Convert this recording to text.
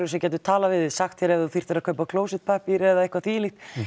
sem gætu talað við þig sagt þér ef þú þyrftir að kaupa klósettpappír eða eitthvað því um líkt